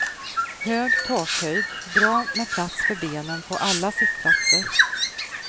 Hög takhöjd, bra med plats för benen på alla sittplatser.